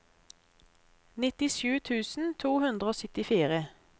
nittisju tusen to hundre og syttifire